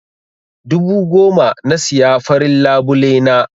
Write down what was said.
Dubu goma na siya farin labule na.